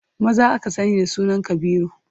Maza aka sani da sunan Kabiru.